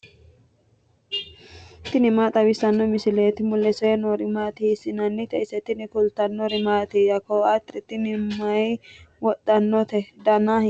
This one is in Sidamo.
tini maa xawissanno misileeti ? mulese noori maati ? hiissinannite ise ? tini kultannori mattiya? Koatte tinni mayi wodhannotte? Danna hiittotte?